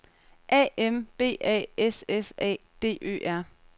A M B A S S A D Ø R